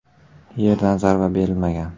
Yerdan zarba berilmagan.